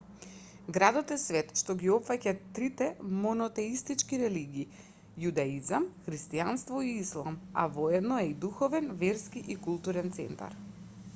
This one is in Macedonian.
градот е свет што ги опфаќа трите монотеистички религии јудаизам христијанство и ислам а воедно е и духовен верски и културен центар